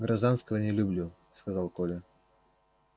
гражданского не люблю сказал коля